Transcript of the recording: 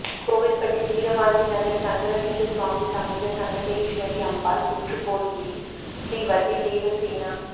கோவில்பட்டி வீரவாஞ்சி நகா் சங்கரலிங்க சுவாமி சமேத சங்கரேஸ்வரி அம்பாள் புற்றுக்கோயிலில் ஸ்ரீவள்ளி தேவசேனா